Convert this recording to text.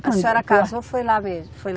A senhora casou, foi lá mesmo? Foi